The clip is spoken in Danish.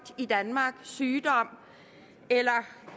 i danmark sygdom eller